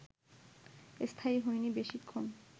স্থায়ী হয়নি বেশিক্ষণ